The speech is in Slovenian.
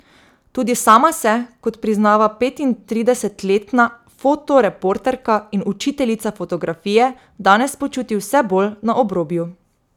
Tudi sama se, kot priznava petintridesetletna fotoreporterka in učiteljica fotografije, danes počuti vse bolj na obrobju.